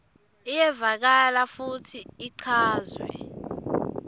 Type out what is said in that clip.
iyevakala futsi ichazwe